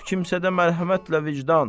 Yox kimsədə mərhəmətlə vicdan.